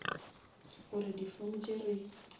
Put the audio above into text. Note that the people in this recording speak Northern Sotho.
gore di form tše re